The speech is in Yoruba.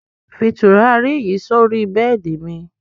Fí tùràrí yí sọ̀rí bẹẹ́di mi!